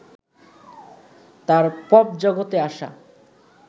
তার পপ জগতে আসা